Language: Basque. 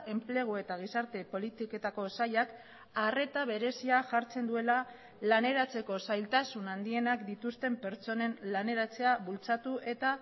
enplegu eta gizarte politiketako sailak arreta berezia jartzen duela laneratzeko zailtasun handienak dituzten pertsonen laneratzea bultzatu eta